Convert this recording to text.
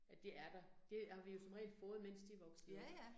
At det er der. Det har vi jo som regel fået, mens de voksede op